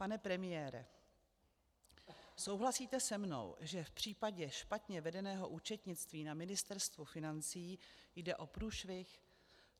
Pane premiére, souhlasíte se mnou, že v případě špatně vedeného účetnictví na Ministerstvu financí jde o průšvih?